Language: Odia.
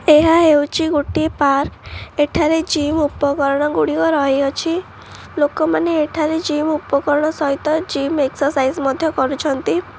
ଏହା ହେଉଛି ଗୋଟିଏ ପାର୍କ ଏଠାରେ ଜିମ୍ ଉପକରଣ ଗୁଡିକ ରହିଅଛି ଲୋକମାନେ ଏଠାରେ ଜିମ୍ ଉପକରଣ ସହିତ ଜିମ୍ ଏକ୍ସସାଇଜ ମଧ୍ୟ କରୁଛନ୍ତି।